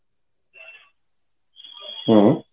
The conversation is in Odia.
ହୁଁ